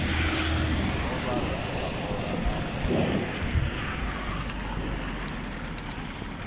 a vhaḓa a ola a